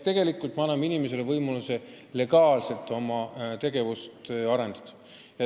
Tegelikult me anname inimesele võimaluse legaalselt oma tegevust arendada.